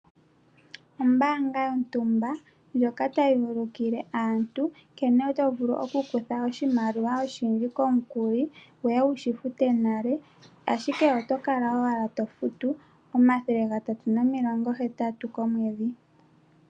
Ombaanga yontumba ndjoka ta yi ulukile aantu nkene to vulu okukutha oshimaliwa oshindji komukuli, wu ye wu shi fute nale, ashike oto kala owala to futu omathele gatatu nomilongo hetatu komwedhi.